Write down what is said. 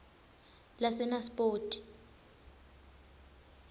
lasenaspoti